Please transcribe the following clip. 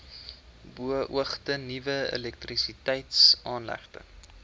beoogde nuwe elektrisiteitsaanlegte